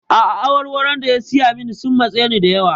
A'a, awarwaron da ya saya min sun matse ni da yawa.